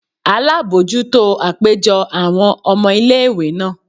alabọjuto apejọ awọn ọmọ ìlé-ìwé naa